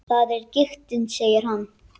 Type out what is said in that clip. Það er giktin, segir hann.